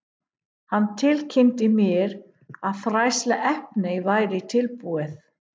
Hann tilkynnti mér, að fræðsluefnið væri tilbúið